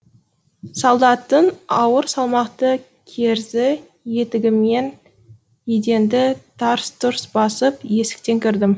солдаттың ауыр салмақты керзі етігімен еденді тарс тұрс басып есіктен кірдім